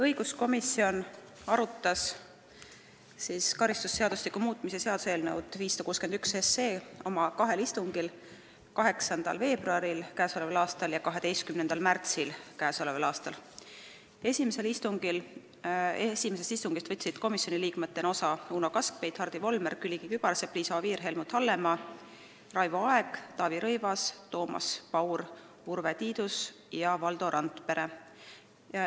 Õiguskomisjon arutas karistusseadustiku muutmise seaduse eelnõu 561 kahel istungil: 8. veebruaril k.a ja 12. märtsil k.a. Esimesest istungist võtsid komisjoni liikmetena osa Uno Kaskpeit, Hardi Volmer, Külliki Kübarsepp, Liisa Oviir, Helmut Hallemaa, Raivo Aeg, Taavi Rõivas, Toomas Paur, Urve Tiidus ja Valdo Randpere.